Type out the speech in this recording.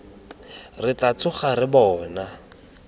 re tla tsoga re bona